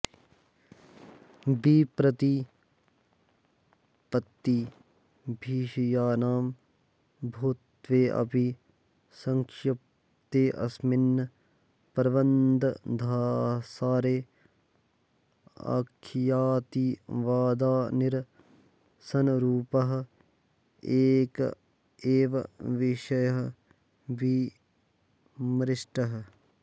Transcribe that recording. विप्रतिपत्तिविषयाणां बहुत्वेऽपि सङ्क्षिप्तेऽस्मिन् प्रबन्धसारे अख्यातिवादनिरसनरुपः एक एव विषयः विमृष्टः